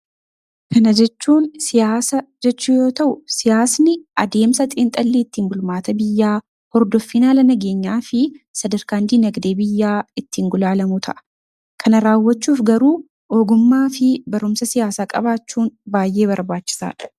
Kana jechuun siyasaa jechuu yoo ta'u, siyasni addemsaa ittin xinxxalii bulmataa biyyaa, hordofiin haala nageenyaafi sadarkaan dinagdee biyyaa ittin gulalamuu ta'a. Kana rawwachuuf garuu, ogummmaafi barumsaa siyasaa qabachuun baay'ee barbachisadha.